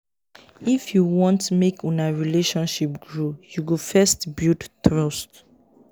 if you want make una relationship grow you go first build trust.